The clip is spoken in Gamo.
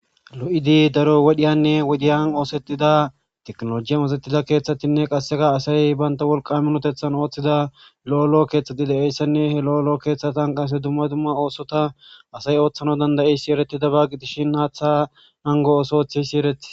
Lo7idi daro wodiyan wodiyan oosetiza tekinologe masatiza keeththatinne qassika asay bantta wolqqa minoththeta oothiza lo lo keeththati de7iyassanne ha lo lo keeththatan qasse dumma dumma oosota asay ooththan danda7iyayssa ereetidaba gidishin haaththa nanggo ooso oothiyayssi eretis.